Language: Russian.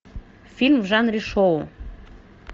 фильм в жанре шоу